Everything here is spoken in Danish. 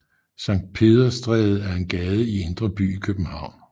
Sankt Peders Stræde er en gade i Indre By i København